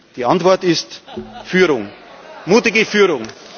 Die Antwort ist Führung, mutige Führung.